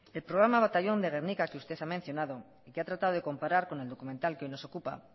el programa batallón de gernika que usted ha mencionado y ha tratado de comparar con el documental que hoy nos ocupa